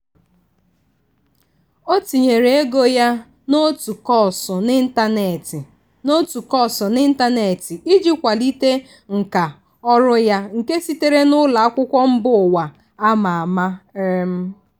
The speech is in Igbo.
ọ tinyere ego ya n'otu kọọsụ n'ịntanetị n'otu kọọsụ n'ịntanetị iji kwalite nkà ọrụ ya nke sitere na ụlọ akwụkwọ mba ụwa a ma ama. um